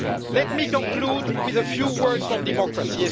Let me conclude with a few words on democracy.